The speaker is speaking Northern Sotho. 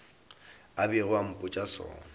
a bego a mpotša sona